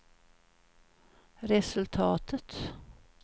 resultatet